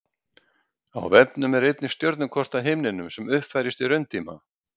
á vefnum er einnig stjörnukort af himninum sem uppfærist í rauntíma